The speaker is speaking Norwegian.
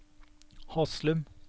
Haslum